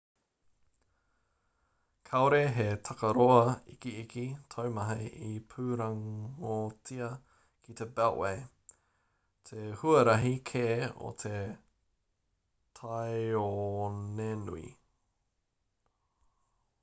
kāore he takaroa ikiiki taumaha i pūrongotia ki te beltway te huarahi kē o te tāonenui